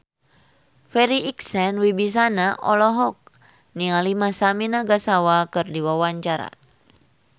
Farri Icksan Wibisana olohok ningali Masami Nagasawa keur diwawancara